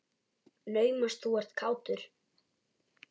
Naumast þú ert kátur.